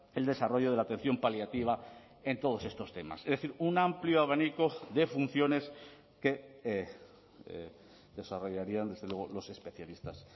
el desarrollo de la atención paliativa en todos estos temas es decir un amplio abanico de funciones que desarrollarían desde luego los especialistas